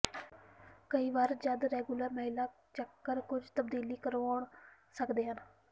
ਕਈ ਵਾਰ ਜਦ ਰੈਗੂਲਰ ਮਹਿਲਾ ਚੱਕਰ ਕੁਝ ਤਬਦੀਲੀ ਕਰਾਉਣ ਸਕਦੇ ਹਨ